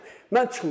Mən çıxmıram.